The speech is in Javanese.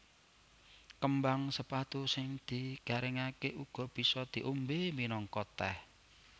Kembang sepatu sing digaringaké uga bisa diombé minangka tèh